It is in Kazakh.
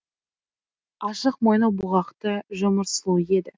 ашық мойны бұғақты жұмыр сұлу еді